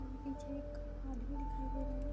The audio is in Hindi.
अं पीछे एक आदमी दिखाई दे रहे हैं।